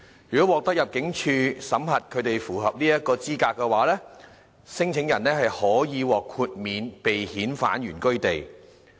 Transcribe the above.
如獲得入境事務處審核他們符合酷刑聲請的資格，聲請者可獲豁免被遣返原居地。